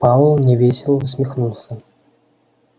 пауэлл невесело усмехнулся